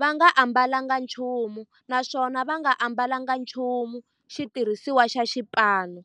va nga ambalanga nchumu naswona va nga ambalanga nchumu xitirhisiwa xa xipano.